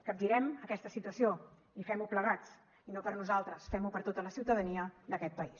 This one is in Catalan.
capgirem aquesta situació i fem ho plegats i no per nosaltres fem ho per tota la ciutadania d’aquest país